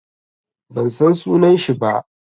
Ban san sunan shi ba.